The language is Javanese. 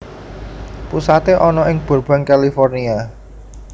Pusaté ana ing Burbank California